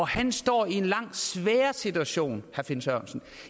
han står i en langt sværere situation herre finn sørensen